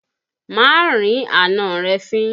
Má rí àna rẹ̀ fín!